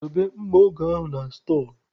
Dobe mma oge ahụ na stọọ!